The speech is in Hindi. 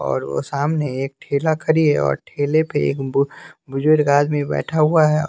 और वो सामने एक ठेला खड़ी है और ठेले पे एक बुजुर्ग आदमी बैठा हुआ है --